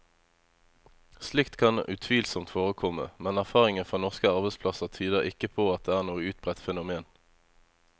Slikt kan utvilsomt forekomme, men erfaringen fra norske arbeidsplasser tyder ikke på at det er noe utbredt fenomen.